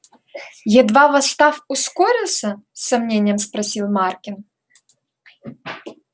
едва восстав ускорился с сомнением спросил маркин